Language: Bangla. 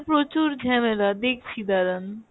প্রচুর ঝ্যামেলা দেখছি দাঁড়ান।